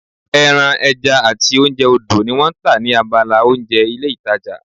Ẹran, ẹja àti oúnjẹ odò ni wọ́n tà ní abala oúnjẹ ní ilé ìtajà